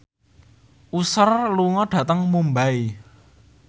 Usher lunga dhateng Mumbai